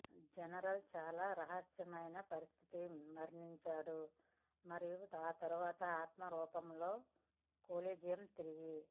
general చాలా రహస్యమైన పరిస్థితులలో మరణించాడు మరియు తరువాత ఆత్మ రూపంలో కొలీజియం తిరిగి